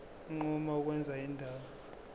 unquma ukwenza indawo